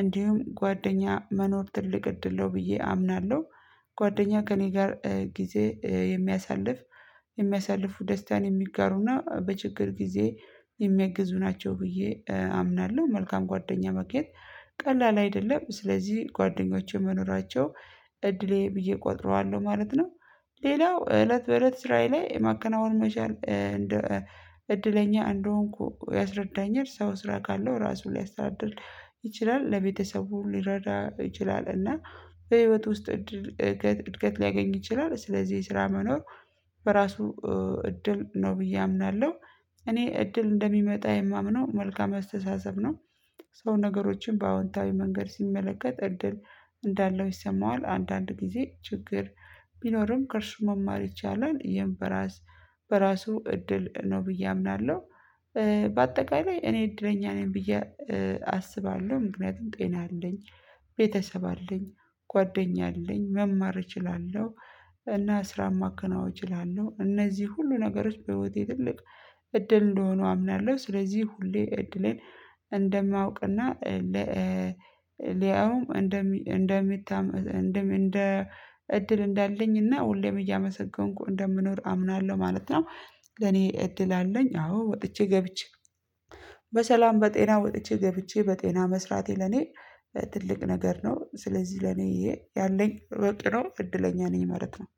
እንዲሁም ጓደኛ መኖር ትልቅ እድለው ብዬ አምናለሁ ጓደኛ ከእኔ ጋር ጊዜ የሚያሳልፍ የሚያሳልፉ ደስታን የሚጋሩና በችግር ጊዜ የሚያግዙ ናቸው ብዬ አምናለሁ መልካም ጓደኛ ማግኘት ቀላል አይደለም ስለዚህ ጓደኞቼ መኖራቸው እድሌ ብዬ እቆጥረዋለሁ ማለት ነው። ሌላው እለት በእለት ስራዬ ላይ የማከናወን መቻል እንደ እድለኛ እንደሆንኩ ያስረዳኛል ሰው ስራ ካለው ራሱ ሊያስተዳድር ይችላል ለቤተሰቡ ሊረዳ ይችላል እና በህይወት ውስጥ እድገት ሊያገኝ ይችላል ስለዚህ የስራ መኖር በራሱ እድል ነው ብዬ አምናለሁ እኔ እድል እንደሚመጣ የማምነው መልካም አስተሳሰብ ነው ሰው ነገሮችን በአዎንታዊ መንገድ ሲመለከት እድል እንዳለው ይሰማዋል አንዳንድ ጊዜ ችግር ቢኖርም ከእርሱ መማር ይቻላል ይህም በራስ በራሱ እድል ነው ብዬ አምናለሁ በአጠቃላይ እኔ እድለኛ ነኝ ብዬ አስባለሁ ምክንያቱም ጤና አለኝ ቤተሰብ አለኝ ጓደኛ አለኝ መማር እችላለሁ እና ስራ ማከናወን እችላለሁ እነዚህ ሁሉ ነገሮች በህይወቴ ትልቅ እድል እንደሆኑ አምናለሁ ስለዚህ ሁሌ እድሌን እንደማውቅና ለአሁም እንደ እድል እንዳለኝ እና ሁሌም እያመሰገንኩ እንደምኖር አምናለሁ ማለት ነው ለኔ እድል አለኝ አዎ ወጥቼ ገብቼ በሰላም በጤና ወጥቼ ገብቼ በጤና መስራቴ ለኔ ትልቅ ነገር ነው ስለዚህ ለኔ ያለኝ ሮጥ ነው እድለኛ ነኝ መረጥ ነው